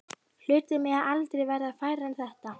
Hlutir mega aldrei verða færri en þetta.